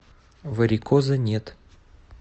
варикоза нет